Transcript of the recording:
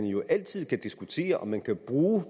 jo altid kan diskuteres om man kan bruge